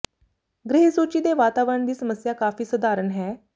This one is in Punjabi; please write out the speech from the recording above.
ਗ੍ਰਹਿ ਸੂਚੀ ਦੇ ਵਾਤਾਵਰਣ ਦੀ ਸਮੱਸਿਆ ਕਾਫ਼ੀ ਸਧਾਰਨ ਹੈ